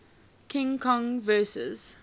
king kong vs